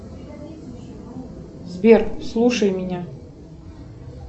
сбер слушай меня